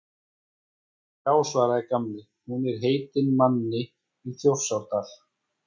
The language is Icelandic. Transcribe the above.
Já svaraði Gamli, hún er heitin manni í Þjórsárdal